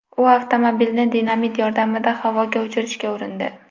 U avtomobilni dinamit yordamida havoga uchirishga urindi .